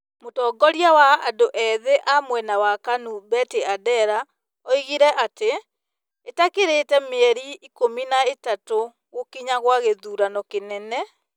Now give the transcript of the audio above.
Mũtongoria wa andũ ethĩ a mwena wa Kanu Betty Adera oigire atĩ , ĩtakĩrĩte mĩeri ikũmi na ĩtatũ gũkinya gwa gĩthurano kĩnene,